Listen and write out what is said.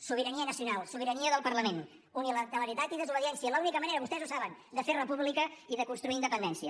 sobirania nacional sobirania del parlament unilateralitat i desobediència l’única manera vostès ho saben de fer república i de construir independència